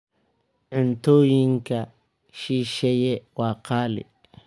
Cuntooyinka shisheeye waa qaali.